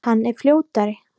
Hann er fljótari.